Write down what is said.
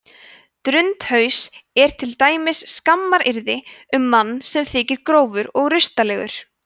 drundhaus er til dæmis skammaryrði um mann sem þykir grófur og rustalegur